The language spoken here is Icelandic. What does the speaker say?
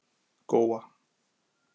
Góa